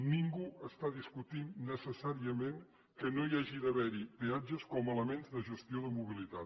ningú està discutint necessàriament que no hi hagi d’haver peatges com a elements de gestió de mobilitat